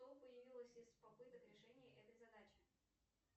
что появилось из попыток решения этой задачи